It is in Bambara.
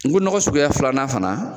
N ko nɔgɔ suguya filanan fana